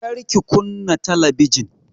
Kar ki kunna talabijin!